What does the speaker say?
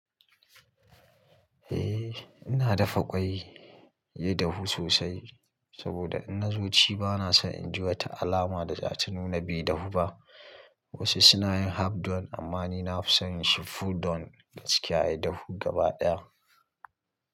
Eh ina dafa ƙwai, ya dahu sosai saboda in na zo ci bana son in ji wata alama da za ta nuna bai dahu ba. Wasu suna yin half done amma ni nafi son shi full done, gaskiya ya dahu gaba ɗaya.